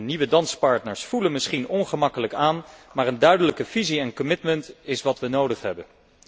Nieuwe danspartners voelen misschien ongemakkelijk aan, maar een duidelijke visie en commitment is wat we nodig hebben.